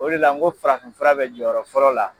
O de la n ko farafinfura bɛ jɔyɔrɔ fɔlɔ la.